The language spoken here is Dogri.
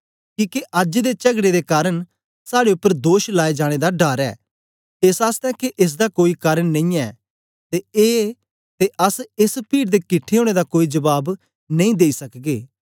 किके अज्ज दे चगड़े दे कारन साड़े उपर दोष लाए जाने दा डर ऐ एस आसतै के एस दा कोई कारन नेईयैं ते अस एस पीड़ दे किट्ठे ओनें दा कोई जबाब नेई देई सकगे